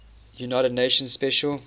united nations special